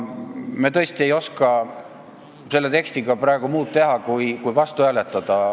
Me tõesti ei oska selle tekstiga praegu muud teha kui sellele vastu hääletada.